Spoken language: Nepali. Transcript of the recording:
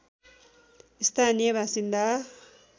स्थानीय बासिन्दा